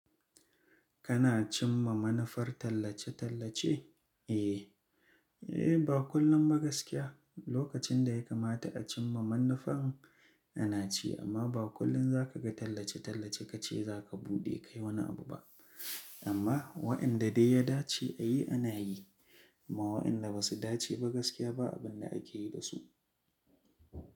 Kana cimma manufar tallace-tallace? Eh, eh ba kullum ba gaskiya. Lokacin da ya kamata a cimma manufan ana ci amma ba kullum za ka ga tallace-tallace ka ce za ka buɗe kai wani abu ba. Amma waɗanda dai ya dace a yi ana yi amma waɗanda ba su dace ba gaskiya ba abin da ake yi da su.